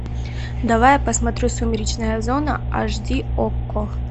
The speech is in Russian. давай я посмотрю сумеречная зона эйч ди окко